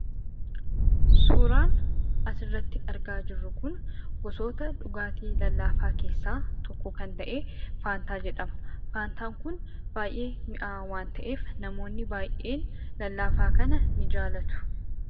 Suuraan asirratti argaa jirru kun gosoota dhugaatii lallaafaa keessaa tokko kan ta'e 'faantaa ' edhama. Faantaan kun baay'ee mi'aawaa waan ta'eef namoonni baay'een lallaafaa kana ni jaallatu.